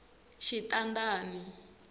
xitandani